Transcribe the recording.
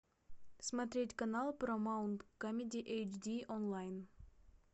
смотреть канал парамаунт камеди эйч ди онлайн